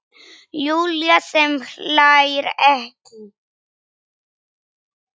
Júlía sem hlær ekki.